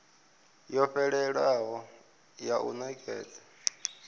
yo fhelelaho ya u nekedza